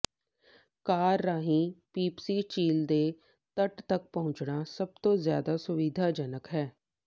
ਕਾਰ ਰਾਹੀਂ ਪੀਪਸੀ ਝੀਲ ਦੇ ਤੱਟ ਤੱਕ ਪਹੁੰਚਣਾ ਸਭ ਤੋਂ ਜ਼ਿਆਦਾ ਸੁਵਿਧਾਜਨਕ ਹੈ